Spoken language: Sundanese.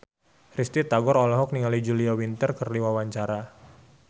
Risty Tagor olohok ningali Julia Winter keur diwawancara